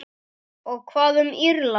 Og hvað um Írland?